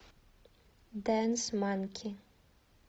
дэнс манки